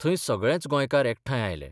थंय सगळेच गोंयकार एकठांय आयले.